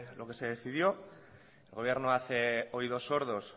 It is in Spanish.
lo que se decidió el gobierno hace oídos sordos